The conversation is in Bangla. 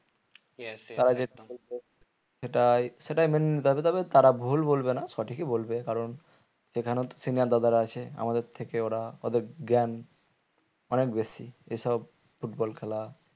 সেটাই সেটাই মেনে নিতে হবে তারা ভুল বলবে না সঠিকই বলবে কারণ সেখানেও তো senior দাদারা আছে আমাদের থেকে ওরা ওদের জ্ঞান অনেক বেশি এসব football খেলা